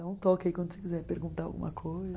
Dá um toque aí quando você quiser perguntar alguma coisa.